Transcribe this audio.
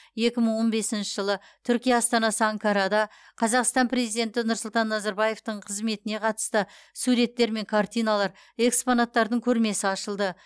екі мың он бесінші жылы түркия астанасы анкарада қазақстан президенті нұрсұлтан назарбаевтың қызметіне қатысты суреттер мен картиналар экспонаттардың көрмесі ашылды